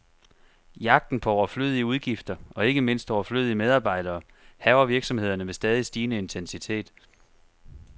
Jagten på overflødige udgifter, og ikke mindst overflødige medarbejdere, hærger virksomhederne med stadig stigende intensitet.